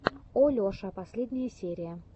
олеша последняя серия